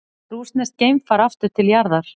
Rússneskt geimfar aftur til jarðar